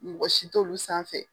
Mɔgɔ si t'olu s'a man.